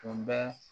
Tun bɛ